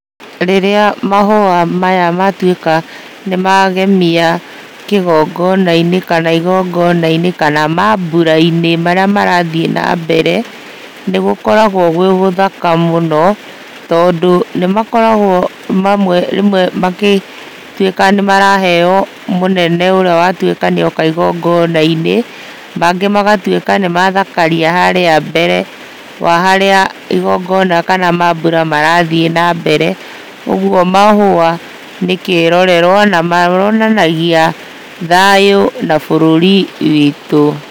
Rĩrĩa mahũa maya matuĩka nĩ magemia kĩgongonainĩ kana igongonainĩ, kana mambura-ini marĩa marathiĩ na mbere nĩ gũkoragwo gwĩ gũthaka mũno. Tondũ nĩ makoragwo rĩmwe magĩtuĩka nĩ maraheyo mũnene ũrĩa watuĩka nĩoka igongona-inĩ, mangĩ magatuĩka nĩ mathakaria harĩa mbere wa harĩa igongona kana mambura marathiĩ na mbere. Ũguo mahũa nĩ kĩrorerwa na monanagia thayũ na bũrũri witũ.